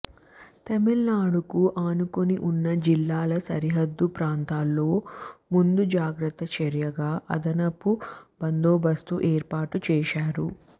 తమిళనాడుకు ఆనుకుని ఉన్న జిల్లాల సరిహద్దు ప్రాంతాల్లో ముందుజాగ్రత్త చర్యగా అదనపు బందోబస్తును ఏర్పాటు చేశారు